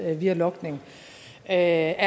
eller via logning er